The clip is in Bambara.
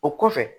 O kɔfɛ